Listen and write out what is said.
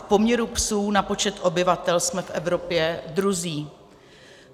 V poměru psů na počet obyvatel jsme v Evropě druzí.